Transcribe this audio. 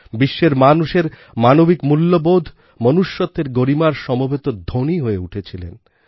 বিশ্বের মানুষের মানবিক মূল্যবোধ মনুষ্যত্বের গরিমার সমবেত ধ্বনি হয়ে উঠেছিলেন